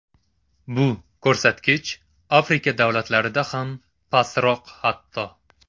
Bu ko‘rsatkich Afrika davlatlarida ham pastroq hatto.